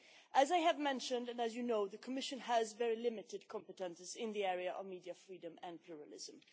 As I have said and you well know, the Commission has very limited competences in the area of media freedom and pluralism.